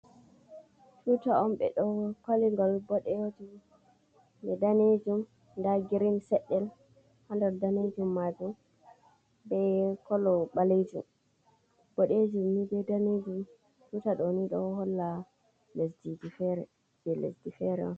Tuta on ɓe do faligol boɗeejum be daneejum da girin seddel ha daneejum maajum be kolo baleejum. boɗeejum ni be daneejum tuta do ni do holla je lesdi fere.